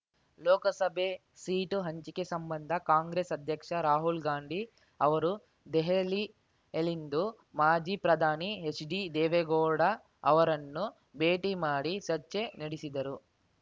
ಲೋಕಸಭೆ seat ಹಂಚಿಕೆ ಸಂಬಂಧ ಕಾಂಗ್ರೆಸ್ ಅಧ್ಯಕ್ಷ ರಾಹುಲ್ ಗಾಂಧಿ ಅವರು ದೆಹಲಿಯಲ್ಲಿಂದು ಮಾಜಿ ಪ್ರಧಾನಿ ಹೆಚ್ಡಿದೇವೇಗೌಡ ಅವರನ್ನು ಭೇಟಿ ಮಾಡಿ ಚರ್ಚೆ ನಡೆಸಿದರು